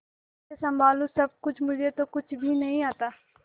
कैसे संभालू सब कुछ मुझे तो कुछ भी नहीं आता